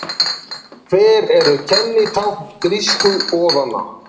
Hver eru kennitákn grísku goðanna?